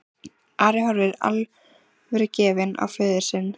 Ari horfði alvörugefinn á föður sinn.